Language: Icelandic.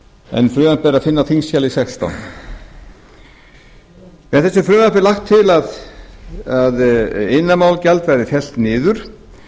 en frumvarpið er að finna á þingskjali sextán með þessu frumvarpi er lagt til að iðnaðarmálagjald verði fellt niður